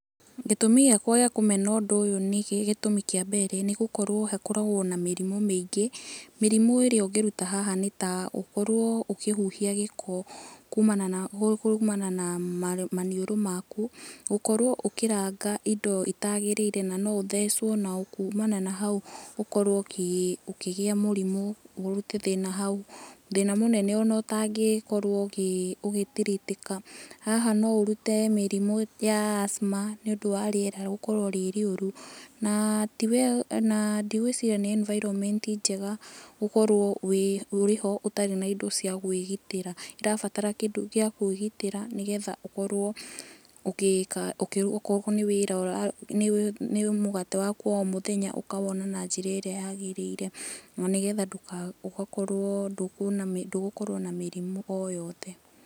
Gĩtũmi gĩakwa gĩa kũmena ũndũ ũyũ nĩ, gĩtũmi kĩa mbere nĩ gũkorwo hakoragwo na mĩrimu mĩingĩ. Mĩrimũ ĩrĩa ũngĩruta haha nĩ ta ũkorwo ukĩhuhia gĩko kumana na maniũrũ maku, gũkorwo ukĩranga indo itaagĩrĩire na no ũthecwo na kumana na hau ũkorwo ũkĩgĩa murimũ, ũrute thĩna hau. Thina mũnene ona ũtangikorwo ũgĩ treat ĩka. Haha no ũrute mirimũ ya asthma nĩ ũndũ wa rĩera gũkorwo rĩ rĩũru, na ndigwĩciria nĩ environment njega gũkorwo uri ho ũtarĩ na indo cia kwĩgitira. Ũrabatara kĩndũ gĩa kwĩgitĩra nĩgetha ũkorwo, okorwo nĩ wĩra nĩ mũgate waku wa o mũthenya ukawona na njĩra ĩrĩa yaagĩrĩire, na nĩgetha ũgakorwo ndũkuona, ndũgũkorwo na mirimu o yothe.